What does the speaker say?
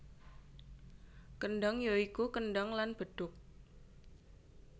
Kendhang ya iku kendhang lan bedhug